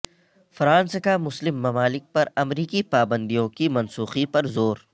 France کا مسلم ممالک پرامریکی پابندیوں کی منسوخی پر زور